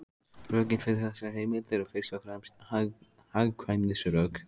Rökin fyrir þessari heimild eru fyrst og fremst hagkvæmnisrök.